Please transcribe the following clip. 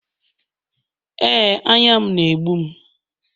Ee, anya m na-egbum